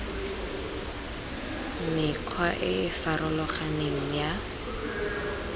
mekgwa e e farologaneng ya